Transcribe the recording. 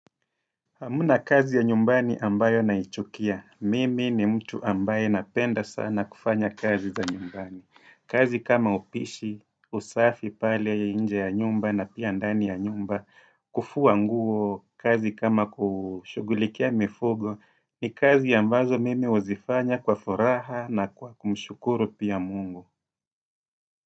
Hamna kazi ya nyumbani ambayo naichukia, mimi ni mtu ambaye napenda sana kufanya kazi za nyumbani. Kazi kama upishi, usafi pale ya inje ya nyumba na pia ndani ya nyumba, kufua nguo, kazi kama kushughulikia mifugo, ni kazi ambazo mimi huzifanya kwa furaha na kwa kumshukuru pia mungu.